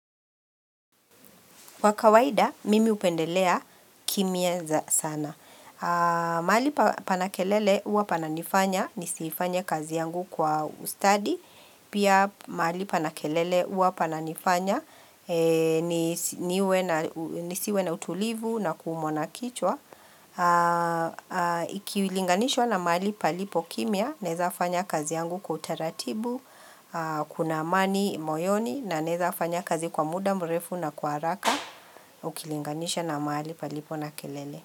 Kwa kawaida, mimi hupendelea kimya za sana. Mahali pana kelele uwa pananifanya, nisifanye kazi yangu kwa ustadi. Pia mahali pana kelele huwa pananifanya, nisiwe na utulivu na kuumwa na kichwa. Ukilinganishwa na mahali palipo kimya, naeza fanya kazi yangu kwa utaratibu, kuna amani, moyoni, na naeza fanya kazi kwa muda, mrefu na kwa haraka. Ukilinganisha na mahali palipo na kelele.